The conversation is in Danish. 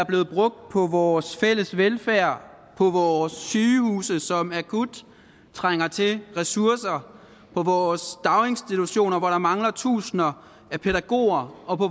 blevet brugt på vores fælles velfærd på vores sygehuse som akut trænger til ressourcer på vores daginstitutioner hvor der mangler tusinder af pædagoger og på